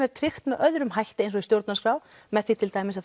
er tryggt með öðrum hætti eins og stjórnarskrá með því til dæmis